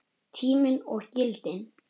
Tíminn og gildin